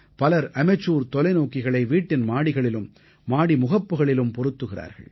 பலர் அமெச்சூர் தொலைநோக்கிகளை வீட்டின் மாடிகளிலும் மாடி முகப்புகளிலும் பொருத்துகிறார்கள்